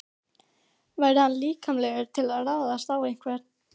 Væri hann líklegur til að ráðast á einhvern?